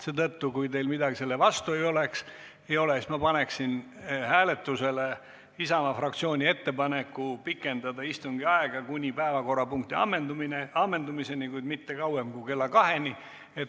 Seetõttu, kui teil midagi selle vastu ei ole, paneksin ma hääletusele Isamaa fraktsiooni ettepaneku pikendada istungit kuni päevakorrapunkti ammendamiseni, kuid mitte kauem kui kella kaheni.